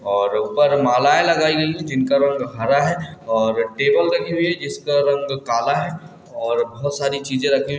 --और ऊपर मलाये लगाई गई है जिनका रंग हरा है और टेबल रखी हुई है जिसका रंग काला है और बहुत सारी चीजें रखी--